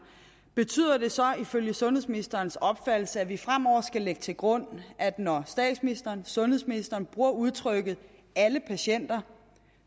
betyder det så ifølge sundhedsministerens opfattelse at vi fremover skal lægge til grund at når statsministeren og sundhedsministeren bruger udtrykket alle patienter